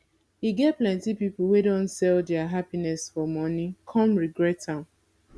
e get plenty pipo wey don sell dia happiness for money come regret am